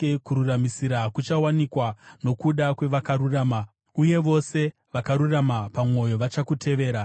Kururamisira kuchawanikwa nokuda kwevakarurama, uye vose vakarurama pamwoyo vachakutevera.